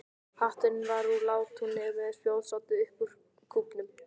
Hatturinn var úr látúni og með spjótsoddi upp úr kúfnum.